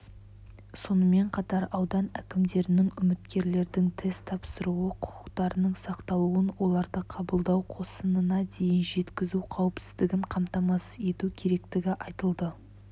сонымен қатар аудан әкімдерінің үміткерлердің тест тапсыру құқықтарының сақталуын оларды қабылдау қосынына дейін жеткізу қауіпсіздігін қамтамасыз ету керектігі айтылды